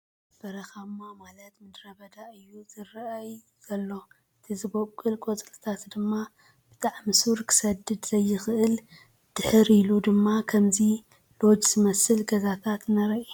በረኻ ማ ማለት ምድረ-ባዳ እዩ ዝረኣይ ዘሎ እቲ ዝቦቖለ ቖጽልታት ድማ ብጣዕሚ ሱር ክሰድድ ዘይኽእል እዩ ። ድሕር ኢሉ ድማ ኽምዚ ሎጅ ዝመስል ገዛታት እንኤ ።